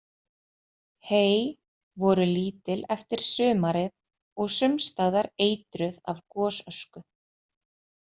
Hey voru lítil eftir sumarið og sums staðar eitruð af gosösku.